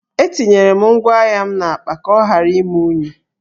Etinyere m ngwá ahịa m n’akpa ka ọ ghara ime unyi